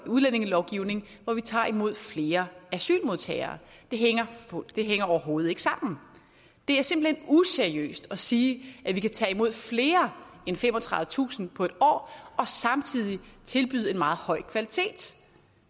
udlændingelovgivning hvor vi tager imod flere asylmodtagere det hænger overhovedet ikke sammen det er simpelt hen useriøst at sige at vi kan tage imod flere end femogtredivetusind på en år og samtidig tilbyde en meget høj kvalitet